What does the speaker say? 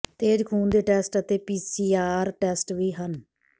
ਤੇਜ਼ ਖੂਨ ਦੇ ਟੈਸਟ ਅਤੇ ਪੀਸੀਆਰ ਟੈਸਟ ਵੀ ਹਨ